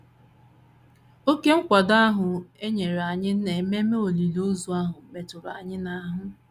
Oké nkwado ahụ e nyere anyị n’ememe olili ozu ahụ metụrụ anyị n’ahụ